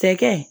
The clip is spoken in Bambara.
Cɛkɛ